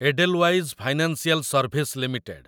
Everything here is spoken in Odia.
Edelweiss financial service limited